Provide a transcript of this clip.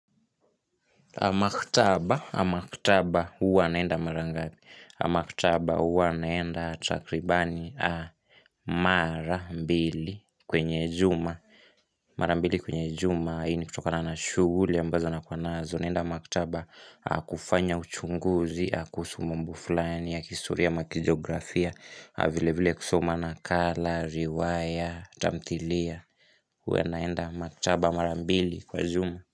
A maktaba, a maktaba huwa naenda mara ngapi. Maktaba huwa naenda takribani mara mbili kwenye juma. Mara mbili kwenye juma, hii ni kutokana na shughuli ambazo nakuwa nazo naenda maktaba kufanya uchunguzi, kuhusu mambo fulani ya kihistoria ama kijiografia, vilevile kusoma nakala, riwaya, tamthilia. Huwa naenda maktaba mara mbili kwa juma.